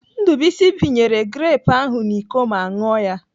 Ndubuisi pinyere grepụ ahụ n'Iko ma ṅụọ ya.